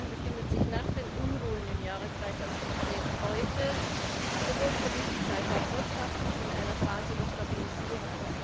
Kirgisistan befindet sich nach den Unruhen im Jahren 2010 heute sowohl politisch als auch wirtschaftlich in einer Phase der Stabilisierung.